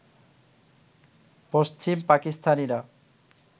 পশ্চিম পাকিস্তানিরা